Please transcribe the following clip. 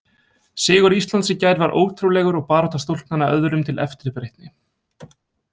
Sigur Íslands í gær var ótrúlegur og barátta stúlknanna öðrum til eftirbreytni.